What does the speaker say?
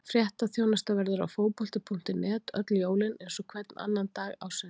Fréttaþjónusta verður á Fótbolti.net öll jólin eins og hvern annan dag ársins.